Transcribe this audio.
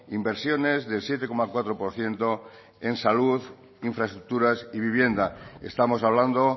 inversiones del siete coma cuatro por ciento en salud infraestructuras y vivienda estamos hablando